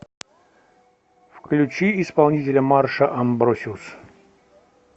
включи исполнителя марша амбросиус